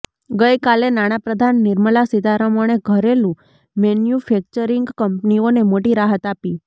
ગઈકાલે નાણાપ્રધાન નિર્મલા સીતારમણે ઘરેલું મેન્યુફેક્ચરિંગ કંપનીઓને મોટી રાહત આપી